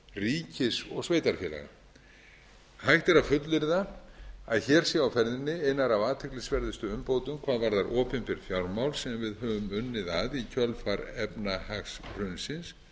ríkis og sveitarfélaga hægt er að fullyrða að hér séu á ferðinni einar af athyglisverðustu umbótum hvað varðar opinber fjármál sem við höfum unnið að í kjölfar efnahagshrunsins